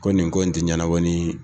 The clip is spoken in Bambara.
Ko nin ko in tɛ ɲɛnabɔ ni